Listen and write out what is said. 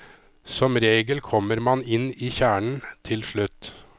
Som regel kommer man inn i kjernen til slutt.